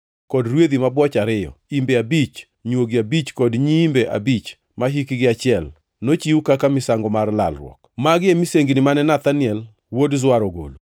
kod rwedhi mabwoch ariyo, imbe abich, nywogi abich kod nyiimbe abich mahikgi achiel, nochiw kaka misango mar lalruok. Magi e misengini mane Nethanel wuod Zuar ogolo.